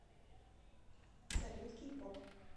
салют кей поп